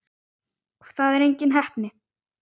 Það er engin heppni.